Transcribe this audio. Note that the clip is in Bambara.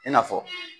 I n'a fɔ